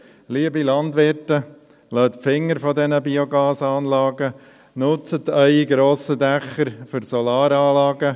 Liebe Landwirte, lasst die Finger von diesen Biogasanlagen, nutzt eure grossen Dächer für Solaranlagen: